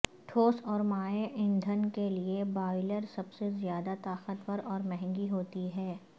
ٹھوس اور مائع ایندھن کے لئے بایلر سب سے زیادہ طاقتور اور مہنگی ہوتی ہیں